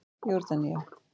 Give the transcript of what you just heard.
Jórdanía